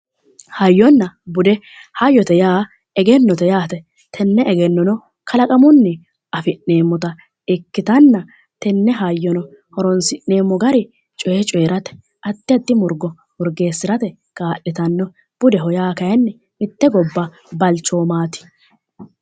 Hayyonna bude hayyote yaa egennote yaate tenne egennono kalaqamunni afi'neemmota ikkitanna tenne hayyono horonsi'neemmo gari coyee coyeerate addi addi murgo murgeessirate kaa'litanno budeho yaa kayeenni mitte gobba balchoomaati